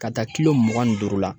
Ka taa kilo mugan ni duuru la